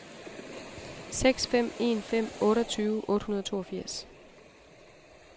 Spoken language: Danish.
seks fem en fem otteogtyve otte hundrede og toogfirs